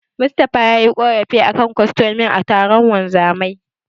Mustapha yayi ƙorafi a kan kostomomin a taron wanzamai.